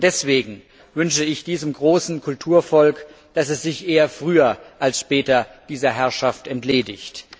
Schon deswegen wünsche ich diesem großen Kulturvolk, dass es sich eher früher als später dieser Herrschaft entledigt.